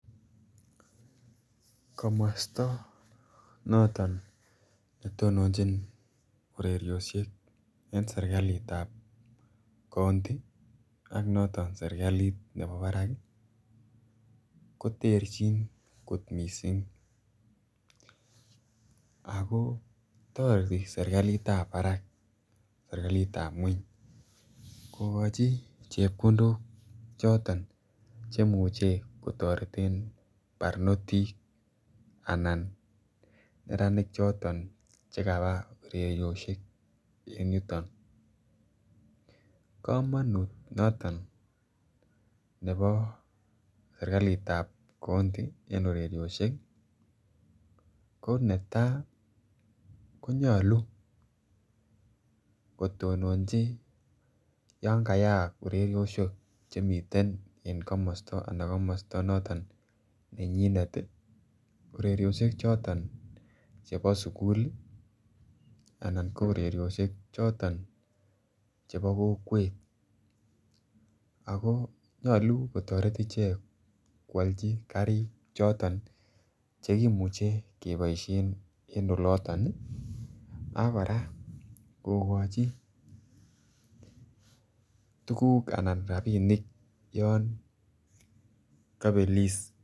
Komosto noton ne tononjin ureriosiek en serkalitab kounti ak noton serkalit nebo Barak ii koterchin kot missing ako toreti serkalitab Barak serkalitab kweny kogochi chepkondok choton chemuche kotoreten barnotik anan neranik choton che kabaa ureriosiek en yuton. Komonut noton nebo serkalit kounti en ureriosiek ii ko netaa konyoluu kotononji yan kayaak ureriosiek chemiten en komosto ana komosto noton nenyinet, ureriosiek choton chebo sukul ii anan ko ureriosiek choton chebo kokwet ako nyoluu kotoret ichek kwolji karik choton chekimuche keboishen en oloton ak koraa kogochi tuguk anan rabinik yon kobelis